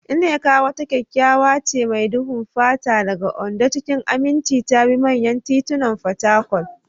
Nneka, wata kyakkyawa ce mai duhun fata daga Ondo, cikin aminci ta bi manyan titunan Fatakwal.